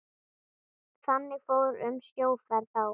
Þannig fór um sjóferð þá.